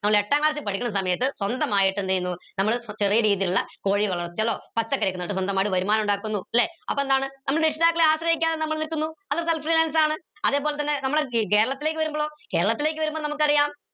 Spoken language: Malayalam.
എട്ടാം class ൽ പഠിക്കണ സമയത്ത് സ്വന്തമായിട്ട് എന്ത് ചെയ്യുന്നു നമ്മളെ ചെറിയ രീതിയിലുള്ള കോഴികൾ വിക്കലോ പച്ചക്കറി ഒക്കെ നട്ട് സ്വന്തമായിട്ട് വരുമാനം ഉണ്ടാക്കുന്നു ല്ലെ അപ്പൊ എന്താണ് ആശ്രയിക്കാതെ നമ്മൾ നിൽക്കുന്നു അത് അതേപോലെ തന്നെ നമ്മള ഈ കേരളത്തിലേക്ക് വരുമ്പളോ കേരളത്തിലേക്ക് വരുമ്പോ നമുക്ക് അറിയാം